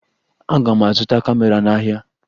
Aga m azụta kamera n'ahịa